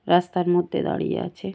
রাস্তার মধ্যে দাড়িয়ে আছে ।